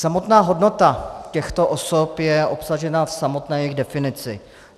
Samotná hodnota těchto osob je obsažena v samotné jejich definici.